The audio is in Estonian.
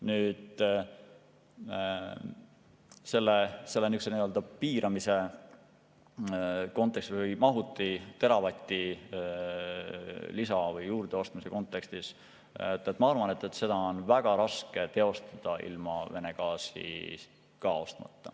Nüüd, selle nii‑öelda piiramise kontekstis või mahutisse juurdeostmise kontekstis ma arvan, et seda on väga raske teostada ilma Vene gaasi ostmata.